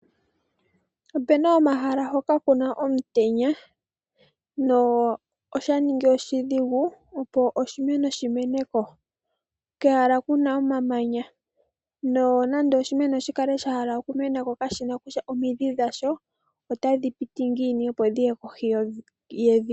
Opena omahala hoka kuna omutenya noshaningi oshidhigu opo oshimeno shimeneko, kehala kuna omamanya, nonando oshimeno sha hala okumena ko kashina kutya omidhi dhasho otadhi piti ngiini opo dhiye kohi yevi.